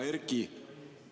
Hea Erki!